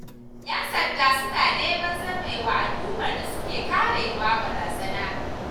Yan sanda suna neman zame wa al'ummar da suke karewa barazana.